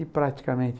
E praticamente...